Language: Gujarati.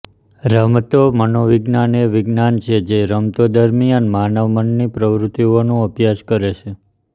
રમતો મનોવિજ્ઞાન એ વિજ્ઞાન છે જે રમતો દરમિયાન માનવ મનની પ્રવૃત્તિઓનું અભ્યાસ કરે છે